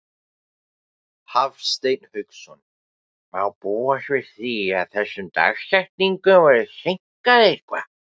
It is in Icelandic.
Hafsteinn Hauksson: Má búast við því að þessum dagsetningum verði seinkað eitthvað?